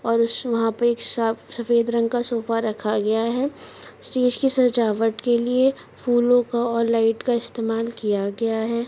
और उस यहा पे साफ सफेद रंग का सोफ़ा रखा गया है स्टेज की सजावट के लिए फूलों का और लाइट का इस्तेमाल किया गया है।